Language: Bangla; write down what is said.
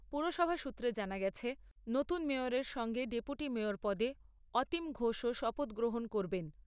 পুরসভা সূত্রে জানা গেছে, নতুন মেয়রের সঙ্গে ডেপুটি মেয়র পদে অতীম ঘোষও শপথ গ্রহণ করবেন।